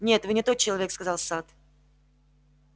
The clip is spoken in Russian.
нет вы не тот человек сказал сатт